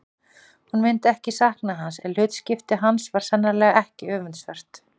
Hún myndi ekki sakna hans en hlutskipti hans var sannarlega ekki öfundsvert.